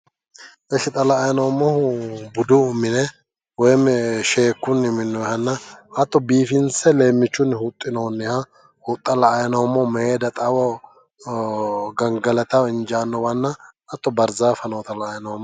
Ishi xa la"anni noommohu budu woyi sheekkunni minooni hattono leemichuni xawoho huxxinoni huxxanna barzafa nootta la"anni noommo".